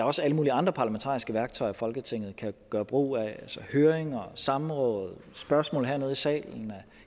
også alle mulige andre parlamentariske værktøjer folketinget kan gøre brug af høringer samråd spørgsmål hernede i salen